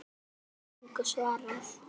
En Lalli gat engu svarað.